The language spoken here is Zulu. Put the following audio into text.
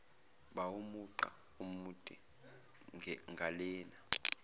bawumugqa omude ngalena